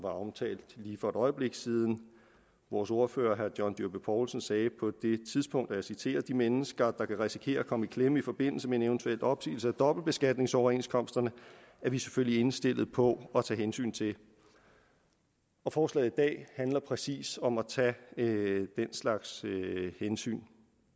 omtalt lige for et øjeblik siden vores ordfører herre john dyrby paulsen sagde på det tidspunkt og jeg citerer de mennesker der kan risikere at komme i klemme i forbindelse med en eventuel opsigelse af dobbeltbeskatningsoverenskomsterne er vi selvfølgelig indstillet på at tage hensyn til forslaget i dag handler præcis om at tage den slags hensyn